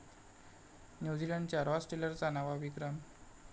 न्यूझीलंडच्या रॉस टेलरचा नवा विक्रम